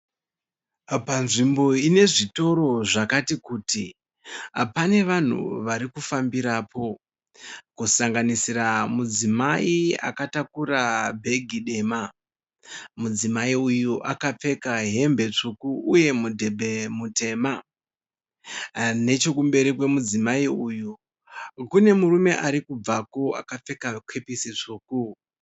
Panzvimbo ine zvitoro zvakati kuti, pane vanhu vari kufambira po. Kusanganisira mudzimai akatakura bag dema, mudzimayi akapfeka hembe tsvuku nemudhebhe mutema Nechemberi kwemudzimayi uyu kune murume ari kubvako akapfeka kepisi tsvuku.